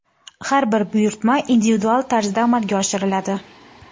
Har bir buyurtma individual tarzda amalga oshiriladi.